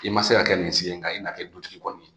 I ma se ka kɛ misi ye nka i n'a kɛ dutigi kɔni